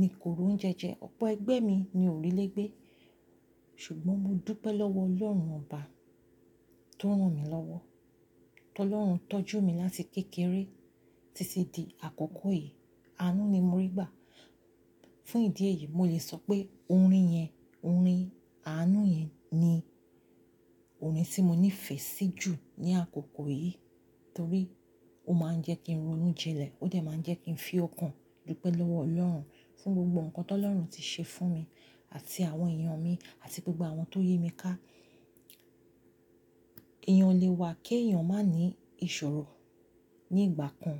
ni kò roún jẹjẹ, ọ̀pọ̀ ẹgbẹ́ mi ni ò rí lé gbé. Ṣùgbọ́n mo dúpẹ́ lọ́wọ́ Ọlọ́run ọba tó rán mi lọ́wọ́. Tọ́ Ọlọ́run tọ́jú mi láti kékeré títí di àkókò yìí. Àánú ni mo rí gbà. Fún ìdí èyí, mo lè sọ pé orin yẹn, orin àánú yẹn ni orin tí mo nífẹ̀ẹ́ sí jù ní àkókò yìí. Torí ó máa ń jẹ́ kí n ronú jilẹ̀, ó dẹ̀ máa ń jẹ́ kí n fi ọkàn dúpẹ́ lọ́wọ́ Ọlọ́run, fún gbogbo nǹkan ti Ọlọ́run ti ṣe fún mi àti àwọn èèyàn mi àti gbogbo àwọn tó yi mi ká. Èèyàn lè wà kí èèyàn má ní ìṣòro ní ìgbà kan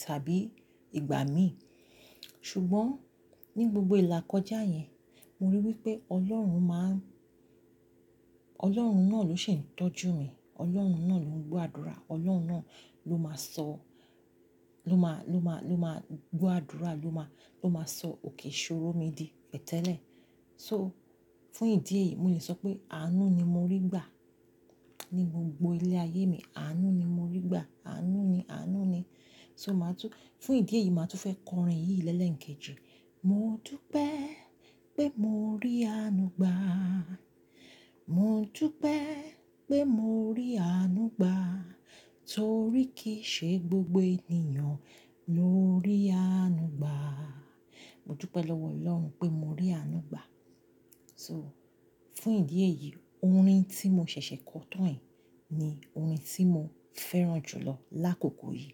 tàbí ìgbà mí. Ṣùgbọ́n ní gbogbo ìlà kọjá yẹn, mo rí i wípé Ọlọ́run máa ń-- Ọlọ́run náà ló ṣì ń tọ́jú mi. Ọlọ́run náà ló ń gbọ́ àdúrà, Ọlọ́run náà ló máa sọ, ló máa, ló máa, ló máa gbọ́ àdúrà, ló máa, ló máa sọ òkè ṣòro mi di pẹ̀tẹ́lẹ̀. So, fún ìdí èyí, mo lè sọ pé àánú ni mo rí gbà ní gbogbo ilé ayé mi. Àánú ni mo rí gbà, àánú ni, àánú ni. So màá tún-- fún ìdí èyí, màá tún fẹ́ kọ orin yìí lẹ́lẹ̀ ńkejì. Mo dúpẹ́ pé mo rí àánú gbà. Mo dúpẹ́ pé mo rí àánú gbà. Torí kì í ṣe gbogbo ènìyàn ló rí àánú gbà. Mo dúpẹ́ lọ́wọ́ Ọlọ́run pé mo rí àánú gbà. So, fún ìdí èyí, orin tí mo ṣẹ̀ṣẹ̀ kọ tán yì ni orin tí mo fẹ́ràn jùlọ lákòókò yìí.